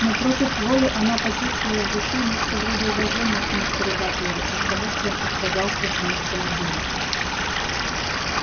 но против воли она почувствовала в душе нечто вроде уважения к мистеру батлеру оттого что он отказался жениться на дуре